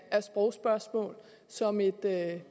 sprogspørgsmål som et emne